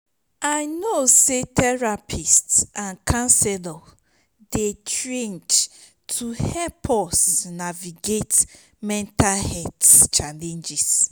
i know say therapists and counselors dey trained to help us navigate mental health challenges.